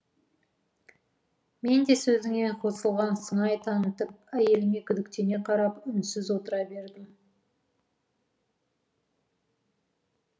мен де сөзіне қосылған сыңай танытып әйеліме күдіктене қарап үнсіз отыра бердім